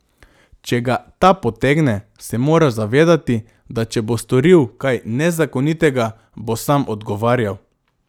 Če ga ta potegne, se mora zavedati, da če bo storil kaj nezakonitega, bo sam odgovarjal.